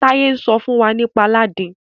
Taye n sọ fún wá nípa Aladin.